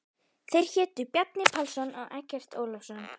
Þeir hétu Bjarni Pálsson og Eggert Ólafsson.